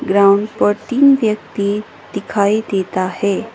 Ground पर तीन व्यक्ति दिखाई देता है।